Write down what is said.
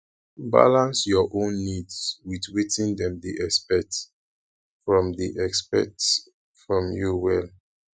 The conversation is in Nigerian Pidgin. balance your own needs with wetin dem dey expect from dey expect from you well